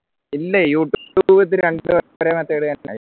ഇല്ല